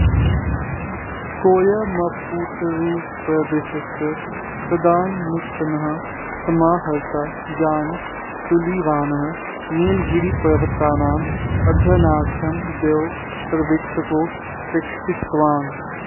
कोयम्पुत्तूरुप्रदेशस्य तदानीन्तनः समाहर्ता जान् सुलिवानः नीलगिरिपर्वतानाम् अध्ययनार्थं द्वौ सर्वेक्षकौ प्रेक्षितवान्